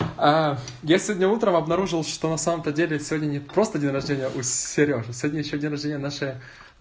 а я сегодня утром обнаружил что на самом-то деле сегодня не просто день рождения у серёжи сегодня ещё день рождения у нашей